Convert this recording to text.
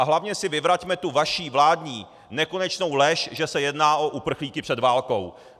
A hlavně si vyvraťme tu vaši vládní nekonečnou lež, že se jedná o uprchlíky před válkou.